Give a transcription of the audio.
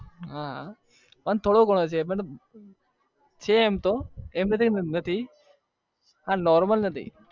હા એ બરોબર છે પણ છે એમ તો આ normal નથી